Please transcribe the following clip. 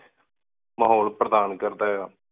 ਮਾਹੋਲ ਪਰਧਾਨ ਕਰਦਾ ਆਯ